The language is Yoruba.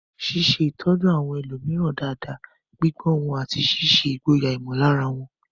Ṣíṣe ìtọ́jú àwọn ẹlòmíràn dáadáa, gbígbọ́ wọn, àti ṣíṣe ìgboyà ìmọ̀lára wọn.